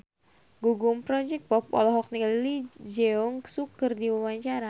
Gugum Project Pop olohok ningali Lee Jeong Suk keur diwawancara